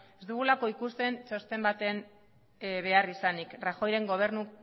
ez dugulako ikusten txosten baten beharrizanik rajoyren